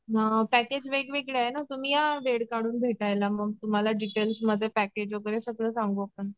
हं पॅकेज वेगवेगळे आहे ना तुम्ही या वेळ काढून भेटायला मग तुम्हाला डिटेल्समध्ये पेकेज वगैरे सगळं सांगू आपण.